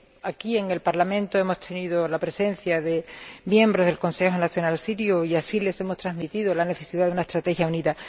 Aquí, en el Parlamento, hemos tenido la presencia de miembros del Consejo Nacional Sirio, a los que hemos transmitido la necesidad de una estrategia unida.